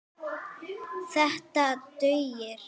Þetta dugir.